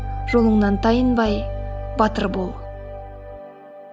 жолыңнан тайынбай батыр бол